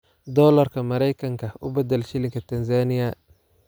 dollarka Maraykanka u badal shilinka Tansaaniya